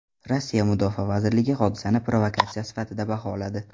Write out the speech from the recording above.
Rossiya Mudofaa vazirligi hodisani provokatsiya sifatida baholadi.